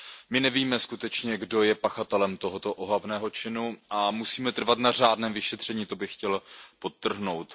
My nevíme skutečně, kdo je pachatelem tohoto ohavného činu, a musíme trvat na řádném vyšetření, to bych chtěl podtrhnout.